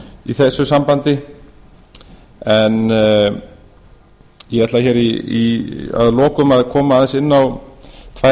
í þessu sambandi en ég ætla hér að lokum að koma aðeins